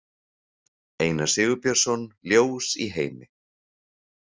Einar Sigurbjörnsson, Ljós í heimi.